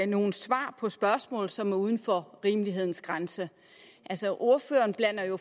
nogle svar på spørgsmål som er uden for rimelighedens grænse altså ordføreren blander jo